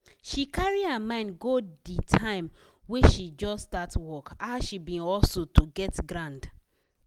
she carry her mind go de time wey she just start work how she bin hustle to get ground.